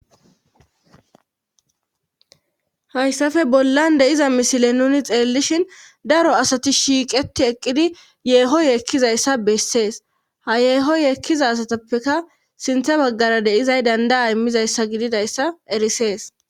Hayssafe bollan deiza misile nuni xeellishin daro asati shiiqeti eqqidi yeeho yeekkizayssa bessees ha yeeho yeekkiza asatappeka sinthe baggara deizay dandaa immizayssa gididayssa erisees